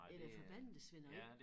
Det da forbandet det svineri